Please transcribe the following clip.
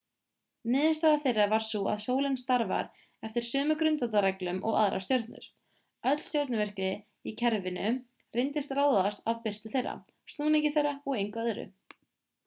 niðurstaða þeirra var sú að sólin starfar eftir sömu grundvallarreglum og aðrar stjörnur öll stjörnuvirkni í kerfinu reyndist ráðast af birtu þeirra snúningi þeirra og engu öðru